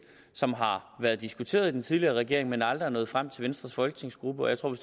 som har været diskuteret i den tidligere regering men aldrig er nået frem til venstres folketingsgruppe og jeg tror